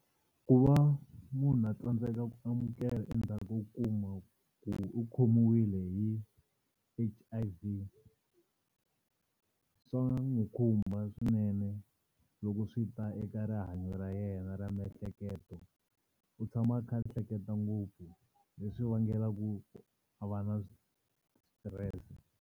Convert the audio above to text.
Ku va munhu a tsandzeka ku amukela endzhaku ko kuma ku u khomiwile hi H_I_V swa n'wi khumba swinene loko swi ta eka rihanyo ra yena ra miehleketo u tshama a kha a ehleketa ngopfu leswi vangelaku a va na stress.